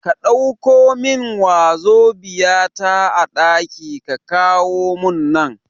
Ka Ɗauko min wazobia ta a ɗaki ka kawo mun nan